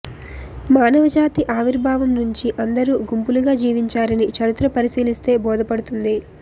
మానవజాతి ఆవిర్భావం నుంచి అందరూ గుంపులుగా జీవించారని చరిత్ర పరిశీలిస్తే బోధపడుతుంది